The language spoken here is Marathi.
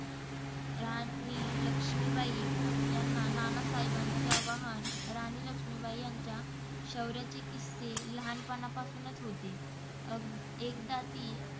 राणी लक्ष्मीबाई यांना नानासाहेबांचे आणि राणी लक्ष्मीबाई यांच्या शौर्याचे किस्से लहानपणापासूनच होते. अएकदा ती